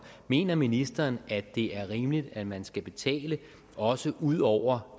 mener ministeren at det er rimeligt at man skal betale også ud over